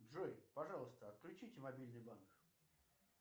джой пожалуйста отключите мобильный банк